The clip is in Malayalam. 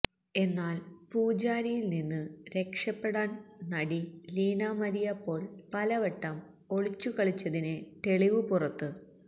എന്നാല് പൂജാരിയിൽ നിന്ന് രക്ഷപെടാൻ നടി ലീന മരിയ പോൾ പലവട്ടം ഒളിച്ചുകളിച്ചതിന് തെളിവ് പുറത്ത്